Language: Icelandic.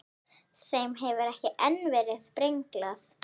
Þeim hefur ekki enn verið brenglað.